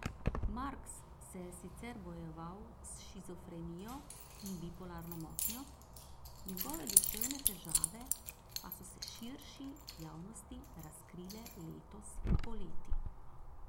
Marks se je sicer bojeval s shizofrenijo in bipolarno motnjo, njegove duševne težave pa so se širši javnosti razkrile letos poleti.